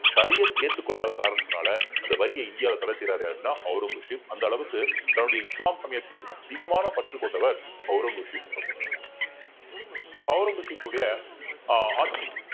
ஷரியத் ஏத்துக்கொள்ளாத காரணத்தினால அந்த வரியை இந்தியாவுல தடை செய்றாரு அப்படின்னா ஔரங்கசீப் அந்த அளவுக்கு தன்னுடைய இஸ்லாம் சமயத்தின் மீது அதிகமான பற்று கொண்டவர் ஔரங்கசீப் அப்படின்னு சொல்லலாம் so ஔரங்கசீப்னுடைய ஆஹ் ஆட்சி